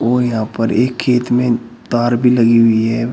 और यहां पर एक खेत में तार भी लगी हुई है।